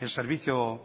el servicio